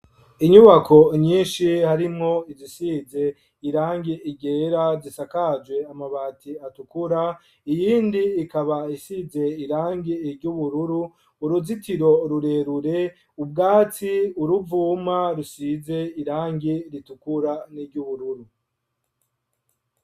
Inyubako nyinshi harimwo izisize irangi ryera ,zisakaje amabati atukura, iyindi ikaba isize irangi ryubururu ,uruzitiro rurerure ,ubwatsi ,uruvuma rusize irangi ritukura ,n'iry'ubururu.